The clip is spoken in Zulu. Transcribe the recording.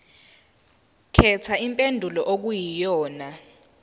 khetha impendulo okuyiyona